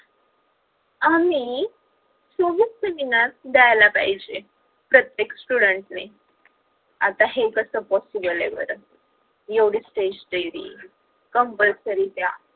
आम्ही सुबक seminar द्यायला पाहिजे प्रत्येक students नी आता हे कसं possible आहे बर एवढी stage daring compulsory द्या